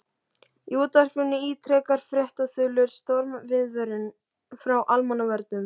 Í útvarpinu ítrekar fréttaþulur stormviðvörun frá Almannavörnum.